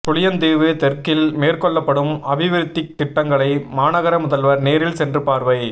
புளியந்தீவு தெற்கில் மேற்கொள்ளப்படும் அபிவிருத்தித் திட்டங்களை மாநகர முதல்வர் நேரில் சென்று பார்வை